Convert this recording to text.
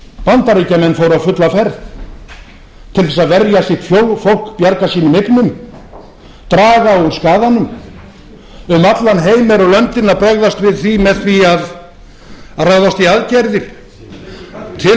bandaríkjamenn fóru á fulla ferð til þess að verja sitt fólk bjarga sínum eignum draga úr skaðanum um allan heim eru löndin að bregðast við því með því að ráðast í aðgerðir til þess